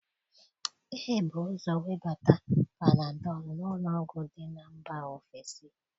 Ebu ụzọ webata Panadọlụ n'ụlọọgwụ dị na mba ofesi